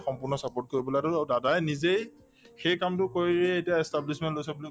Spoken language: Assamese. সম্পূৰ্ণ support কৰিবলৈ আৰু to দাদায়ে নিজেই সেই কামটো কৰিয়েই এতিয়া establishment লৈছে বুলি